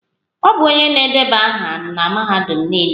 Ọ bụ onye na-edeba aha na Mahadum Nile.